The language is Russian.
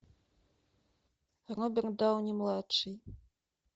роберт дауни младший